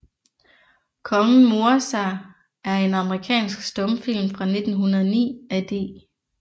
Kongen morer sig er en amerikansk stumfilm fra 1909 af D